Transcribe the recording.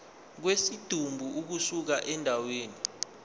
kwesidumbu ukusuka endaweni